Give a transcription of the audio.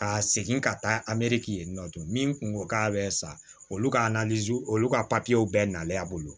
Ka segin ka taa yen nɔ min tun ko k'a bɛ sa olu ka olu ka bɛɛ nalen a bolo